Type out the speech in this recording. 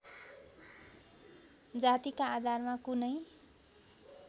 जातिका आधारमा कुनै